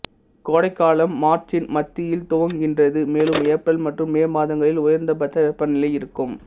கோடைகாலம் மார்ச்சின் மத்தியில் துவங்குகின்றது மேலும் ஏப்ரல் மற்றும் மே மாதங்களில் உயர்ந்தபட்ச வெப்பநிலை இருக்கும்